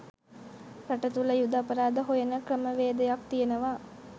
රට තුල යුධ අපරාධ හොයන ක්‍රමවේදයක් තියනවා